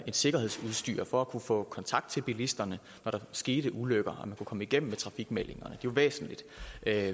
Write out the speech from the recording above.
et sikkerhedsudstyr for at kunne få kontakt til bilisterne når der skete ulykker at kunne komme igennem med trafikmeldinger er jo væsentligt